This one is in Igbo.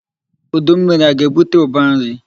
Udu mmiri aga-ebute ụba nri?